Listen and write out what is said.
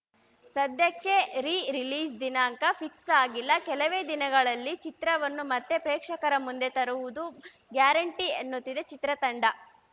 ಸದ್ಯಕ್ಕೆ re release ದಿನಾಂಕ fix ಆಗಿಲ್ಲ ಕೆಲವೇ ದಿನಗಳಲ್ಲಿ ಚಿತ್ರವನ್ನು ಮತ್ತೆ ಪ್ರೇಕ್ಷಕರ ಮುಂದೆ ತರುವುದು ಗ್ಯಾರಂಟಿ ಎನ್ನುತ್ತಿದೆ ಚಿತ್ರತಂಡ